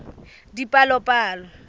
dipalopalo